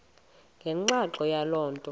ngenxa yaloo nto